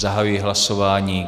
Zahajuji hlasování.